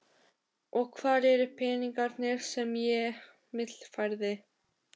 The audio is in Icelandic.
Og hvar eru peningarnir sem ég millifærði?